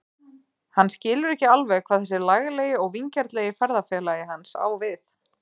Hann skilur ekki alveg hvað þessi laglegi og vingjarnlegi ferðafélagi hans á við.